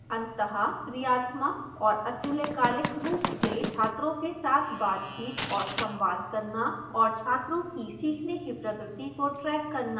अंतःक्रियात्मक और अतुल्यकालिक रूप से छात्रों के साथ बातचीत और संवाद करना और छात्रों की सीखने की प्रगति को track करना